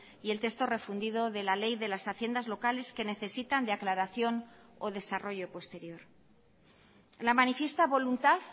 y el texto refundido de la ley de las haciendas locales que necesitan de aclaración o desarrollo posterior la manifiesta voluntad